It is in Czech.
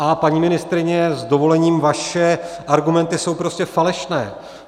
A paní ministryně, s dovolením, vaše argumenty jsou prostě falešné.